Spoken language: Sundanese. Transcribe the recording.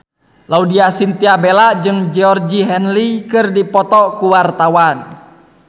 Laudya Chintya Bella jeung Georgie Henley keur dipoto ku wartawan